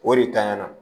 O de tanyana